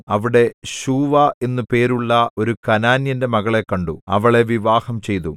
അവിടെ ശൂവാ എന്നു പേരുള്ള ഒരു കനാന്യന്റെ മകളെ കണ്ടു അവളെ വിവാഹംചെയ്തു